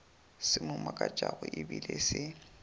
se mo makatšago ebile se